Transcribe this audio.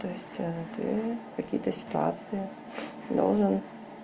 то есть ты какие-то ситуации должен